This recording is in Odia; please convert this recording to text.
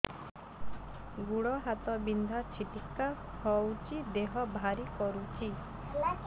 ଗୁଡ଼ ହାତ ବିନ୍ଧା ଛିଟିକା ହଉଚି ଦେହ ଭାରି କରୁଚି